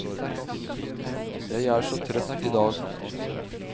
Jeg er så trøtt i dag.